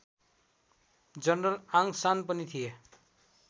General Aung San पनि थिए।